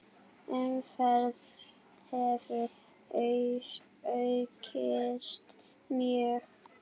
Umferð hefur aukist mjög.